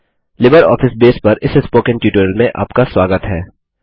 LibreOffice base पर इस spoken tutorial में आपका स्वागत है